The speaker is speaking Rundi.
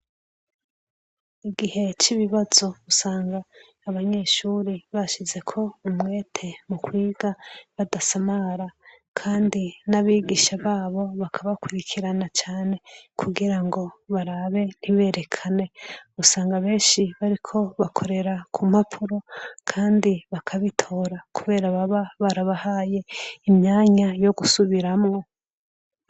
Igihe c'ibibazo, usanga abanyeshuri bashizeko umwete mu kwiga badasamara, kandi n'abigisha babo bakabakurikirana cane kugira ngo barabe ntiberekane. Usanga benshi bariko bakorera ku mpapuro kandi bakabitora, kubera baba barabahaye imyanya yo gusubiramwo.